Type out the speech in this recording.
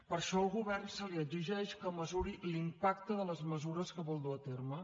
per això al govern se li exigeix que mesuri l’impacte de les mesures que vol dur a terme